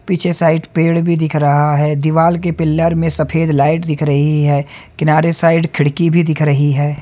पीछे साइड पेड़ भी दिख रहा हैं दीवाल के पिलर में सफ़ेद लाइट दिख रही हैं किनारे साइड खिड़की भी दिख रही हैं।